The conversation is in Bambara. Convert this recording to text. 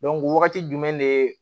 wagati jumɛn de